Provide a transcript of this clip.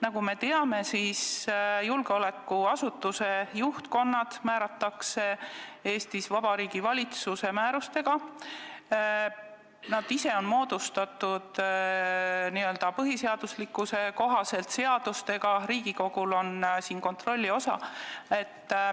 Nagu me teame, julgeolekuasutuste juhtkonnad määratakse Eestis Vabariigi Valitsuse määrusega, need asutused ise on põhiseaduse kohaselt moodustatud seadustega, Riigikogu osa on siin kontroll.